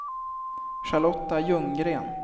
Charlotta Ljunggren